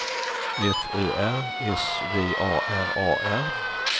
F Ö R S V A R A R